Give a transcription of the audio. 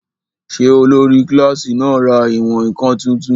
Ṣé olórí kílásì náà ra ìwọ̀n-ǹkan tuntun?